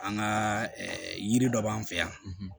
An ka yiri dɔ b'an fɛ yan